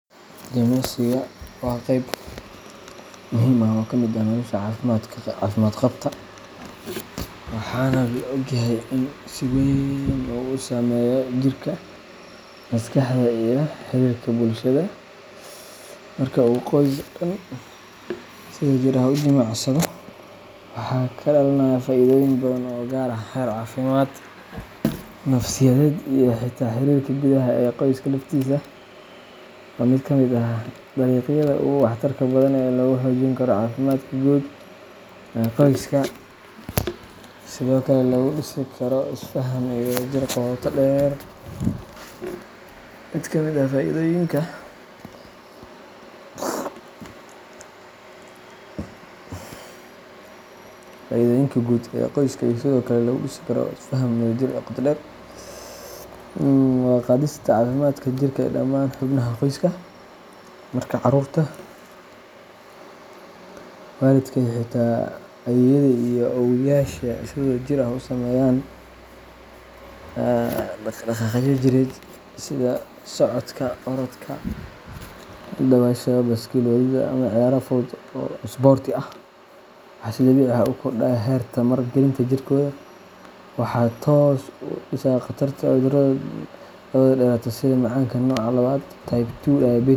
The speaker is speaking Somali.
Jimicsiga waa qayb muhiim ah oo ka mid ah nolosha caafimaad qabta, waxaana la og yahay inuu si weyn u saameeyo jirka, maskaxda iyo xiriirka bulshada. Marka uu qoys dhan si wadajir ah u jimicsado, waxaa ka dhalanaya faa’iidooyin badan oo gaaraya heer caafimaad, nafsiyadeed, iyo xitaa xiriirka gudaha ee qoyska laftiisa. Waa mid ka mid ah dariiqyada ugu waxtarka badan ee lagu xoojin karo caafimaadka guud ee qoyska iyo sidoo kale lagu dhisi karo isfaham iyo wadajir qoto dheer. Mid ka mid ah faa’iidooyinka ugu weyn waa kor u qaadista caafimaadka jirka ee dhammaan xubnaha qoyska. Marka carruurta, waalidka iyo xitaa ayeeyada iyo awooweyaasha ay si wadajir ah u sameeyaan dhaqdhaqaaqyo jireed sida socodka, orodka, dabaasha, baaskiil wadidda, ama ciyaaro fudud oo isboorti ah, waxaa si dabiici ah u kordhaya heerka tamar-gelinta jirkooda. Waxa ay hoos u dhigaysaa khatarta cudurrada daba-dheeraada sida macaanka nooca labaad type 2 diabetes.